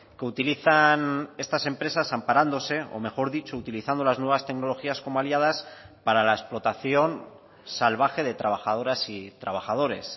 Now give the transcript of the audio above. que utilizan estas empresas amparándose o mejor dicho utilizando las nuevas tecnologías como aliadas para la explotación salvaje de trabajadoras y trabajadores